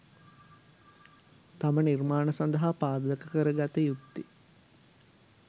තම නිර්මාණ සඳහා පාදක කරගත යුත්තේ